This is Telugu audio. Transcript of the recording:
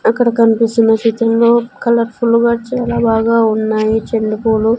అక్కడ కన్పిస్తున్న చిత్రంలో కలర్ఫుల్ గా బాగా ఉన్నాయి చెండు పూలు.